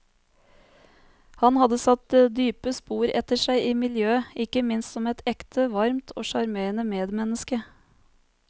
Han hadde satt dype spor etter seg i miljøet, ikke minst som et ekte, varmt og sjarmerende medmenneske.